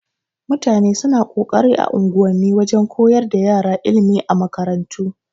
Mutane suna kokarin a unguwa wajan koyar da ƴara ilimi a makarantu.